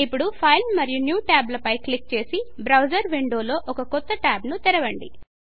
ఇప్పుడు ఫైల్ మరియు new Tab ల పై క్లిక్ చేసి బ్రౌజర్ విండోలో ఒకకొత్త ట్యాబ్ను తెరవండి